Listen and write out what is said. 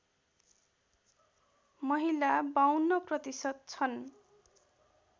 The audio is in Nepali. महिला ५२ प्रतिशत छन्